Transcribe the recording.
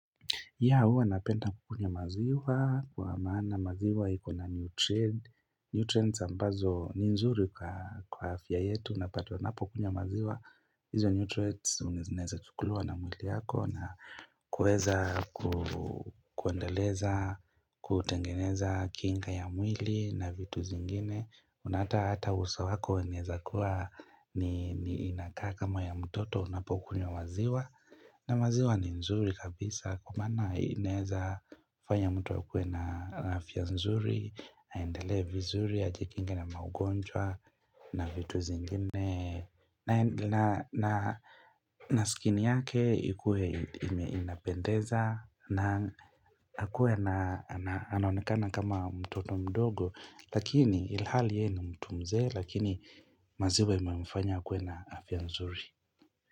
Yeah huwa napenda kukunywa maziwa, kwa maana maziwa ikona nutrient nutrients ambazo ni nzuri kwa afya yetu unapata unapo kunywa maziwa. Hizo nutrients zinaeza chukuliwa na mwili yako na kueza kuendeleza, kutengeneza kinga ya mwili na vitu zingine. Na hata hata uso wako unaweza kuwa ni inakaa kama ya mtoto unapokunywa maziwa na maziwa ni nzuri kabisa kwa maana inaweza fanya mtu akue na afya nzuri aendele vizuri, ajikinge na maugonjwa na vitu zingine na skin yake ikue inapendeza na akue na anaonekana kama mtoto mdogo Lakini ilhali yeye ni mtu mzee lakini maziwa imemfanya akue na afya nzuri.